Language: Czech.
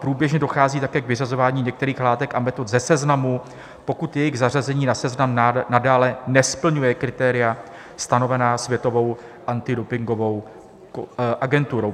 Průběžně dochází také k vyřazování některých látek a metod ze seznamu, pokud jejich zařazení na seznam nadále nesplňuje kritéria stanovená Světovou antidopingovou agenturou.